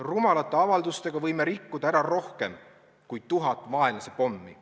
Rumalate avaldustega võime rikkuda ära rohkem, kui seda teeksid tuhat vaenlase pommi.